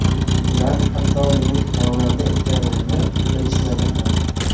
Ular hatto meni xonanda ekanimni bilishmadi ham.